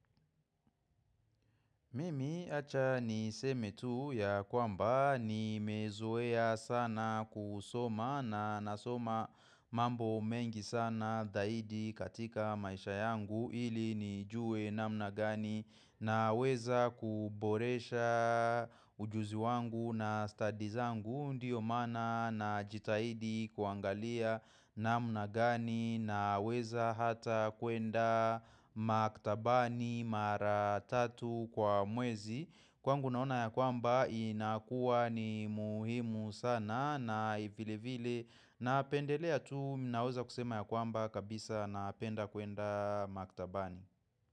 Mimi acha niseme tu ya kwamba nimezoea sana kusoma na nasoma mambo mengi sana zaidi katika maisha yangu ili nijue namna gani naweza kuboresha ujuzi wangu na stadi zangu ndiyo maana najitahidi kuangalia namna gani naweza hata kuenda maktabani mara tatu kwa mwezi kwangu naona ya kwamba inakuwa ni muhimu sana na vile vile napendelea tu mimi naweza kusema ya kwamba kabisa napenda kuenda maktabani.